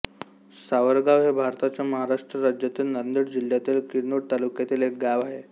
सावरगाव हे भारताच्या महाराष्ट्र राज्यातील नांदेड जिल्ह्यातील किनवट तालुक्यातील एक गाव आहे